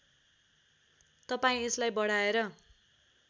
तपाईँ यसलाई बढाएर